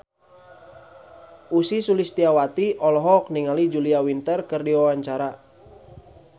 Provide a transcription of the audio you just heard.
Ussy Sulistyawati olohok ningali Julia Winter keur diwawancara